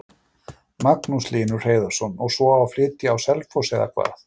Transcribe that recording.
Magnús Hlynur Hreiðarsson: Og svo á að flytja á Selfoss eða hvað?